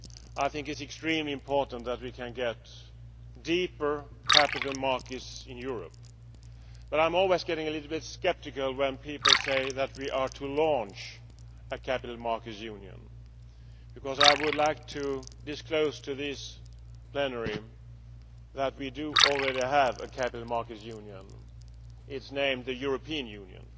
It is extremely important that we get deeper capital markets in Europe, but I always get a little sceptical when people say that we are to launch a capital markets union. I would like to disclose to this plenary that we already have a capital markets union it is called the European Union,